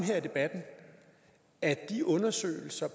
i debatten at de undersøgelser